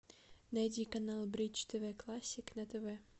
найди канал бридж тв классик на тв